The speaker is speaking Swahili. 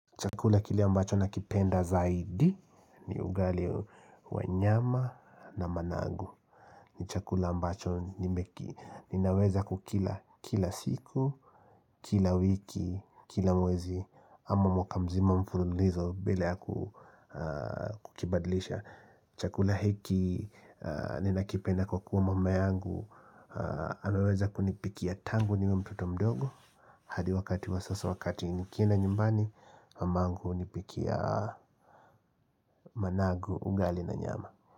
Chakula kile ambacho nakipenda zaidi ni ugali wa nyama na manangu ni chakula ambacho nimeki ninaweza kukila kila siku, kila wiki, kila mwezi ama mwaka mzima mfululizo bila ya kukibadlisha Chakula hiki ninakipenda kwa kuwa mama yangu anaweza kunipikia tangu niwe mtoto mdogo hadi wakati wa sasa wakati nikienda nyumbani mangungu hiniikia managu ugali na nyama.